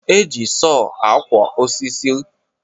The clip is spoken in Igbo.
E ji soọ akwo osisi